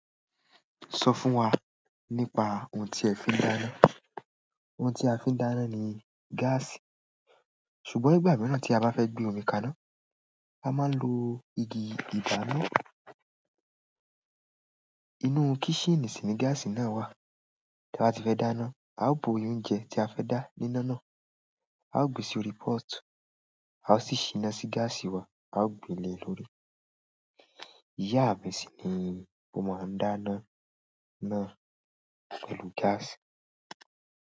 Sọ fún wa nípa ohun tí ẹ fi ń dáná. Ohun tí a fi ń dáná ni gaasi. Ṣùgbọ́n nígbà mìíràn tí a bá fẹ́ gbé omi ka iná, a máa lo igi ìdáná. Inú kísíìnì sì ni gaasì náà wà. Tí a bá ti fẹ́ dáná, a ó bo oyún oúnjẹ tí a fẹ́ dá níná náà, a ó gbé sí orí pọ́ọ̀tù, a ó sì ṣiná sí gáàsì wa, a ó gbé le lórí. Ìyá mi sì ni mo máa ń dáná náà pẹ̀lú gáàsì.